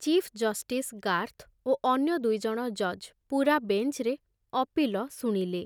Chief justice Garth ଓ ଅନ୍ୟ ଦୁଇଜଣ ଜଜ ପୂରା ବେଞ୍ଚରେ ଅପୀଲ ଶୁଣିଲେ।